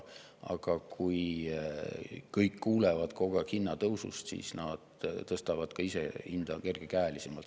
Aga kui kõik kuulevad kogu aeg hinnatõusust, siis nad tõstavad ka ise hinda kergekäelisemalt.